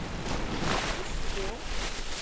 куско